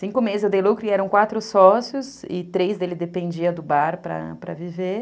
Cinco meses eu dei lucro e eram quatro sócios e três dele dependiam do bar para para viver.